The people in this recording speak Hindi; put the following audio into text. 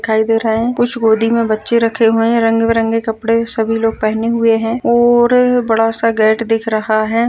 दिखाई दे रहा है कुछ गोदी में बच्चे रखे हुए हैं रंग-बिरंग कपड़े सभी लोग पहने हुए हैं और बड़ा सा गेट दिख रहा है।